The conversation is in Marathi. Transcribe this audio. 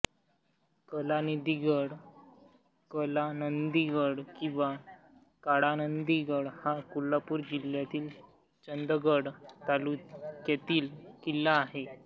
कलानिधी गड कलानंदीगड किंवी काळानंदीगड हा कोल्हापूर जिल्ह्यातील चंदगड तालुक्यातील किल्ला आहे